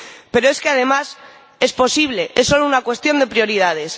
Pero es que, además, es posible. Es solo una cuestión de prioridades.